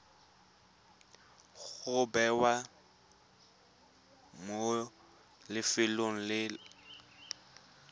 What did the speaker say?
go bewa mo lefelong le